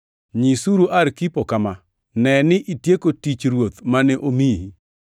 Nyisuru Arkipo kama: “Ne ni itieko tich Ruoth mane omiyi.”